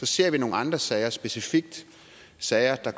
ser nogle andre sager er specifikt sager der